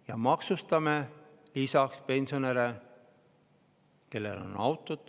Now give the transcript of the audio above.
– ja maksustame lisaks pensionäre, kellel on auto,